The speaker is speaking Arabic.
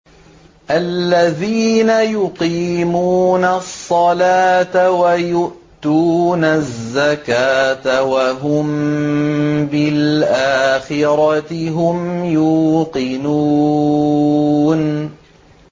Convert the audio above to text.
الَّذِينَ يُقِيمُونَ الصَّلَاةَ وَيُؤْتُونَ الزَّكَاةَ وَهُم بِالْآخِرَةِ هُمْ يُوقِنُونَ